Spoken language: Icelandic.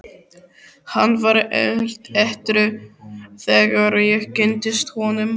Hann var edrú þegar ég kynntist honum.